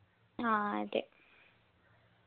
ആ അതെ